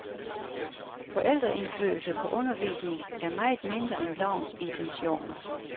Forældreindflydelse på undervisning er meget mindre end lovens intentioner.